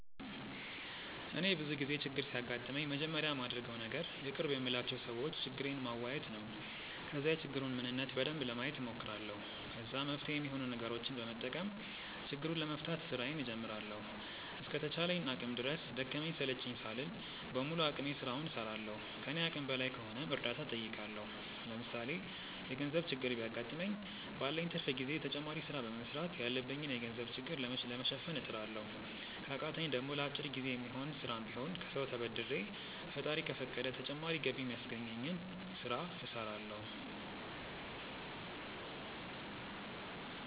እኔ ብዙ ጊዜ ችግር ሲያጋጥመኝ መጀመሪያ ማደርገው ነገር የቅርብ የምላቸው ሰዎች ችግሬን ማዋየት ነው። ከዛ የችግሩን ምንነት በደንብ ለማየት ሞክራለሁ። ከዛ መፍትሄ ሚሆኑ ነገሮችን በመጠቀም ችግሩን ለመፍታት ስራዬን ጀምራለሁ። እስከ ተቻለኝ አቅም ድረስ ደከመኝ ሰለቸኝ ሳልል በሙሉ አቅሜ ስራውን እስራለሁ። ከኔ አቅም በላይ ከሆነም እርዳታ ጠይቃለሁ። ለምሳሌ የገርዘብ ችግር ቢያገጥመኝ ባለኝ ትርፍ ጊዜ ተጨማሪ ስራ በመስራት ያለብኝን የገንዘብ ችግር ለመሸፈን እጥራለሁ። ከቃተኝ ደሞ ለአጭር ጊዜ የሚሆን ስሽም ቢሆን ከሰው ተበድሬ ፈጣሪ ከፈቀደ ተጨማሪ ገቢ ሚያስገኘኝን ስለ እስራለሁ።